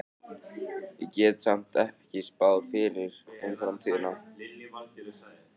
Ég get samt ekki spáð fyrir um framtíðina.